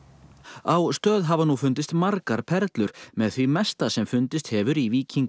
á Stöð hafa nú fundist margar perlur með því mesta sem fundist hefur í